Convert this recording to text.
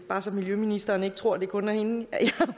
bare så miljøministeren ikke tror at det kun er hende